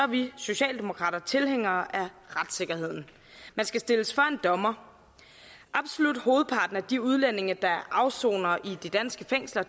vi socialdemokrater tilhængere af retssikkerheden man skal stilles for en dommer absolut hovedparten af de udlændinge der afsoner i de danske fængsler